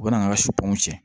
U bɛ na an ka suw tiɲɛ